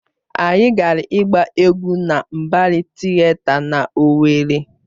Anyị gara ịgba egwu na Mbari Tịeta na Owerri.